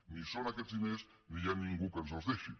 ni hi són aquests diners ni hi ha ningú que ens els deixi